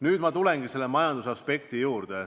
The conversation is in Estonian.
Nüüd ma tulen majandusaspekti juurde.